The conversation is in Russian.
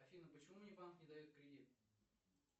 афина почему мне банк не дает кредит